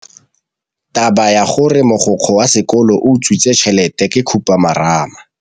Taba ya gore mogokgo wa sekolo o utswitse tšhelete ke khupamarama.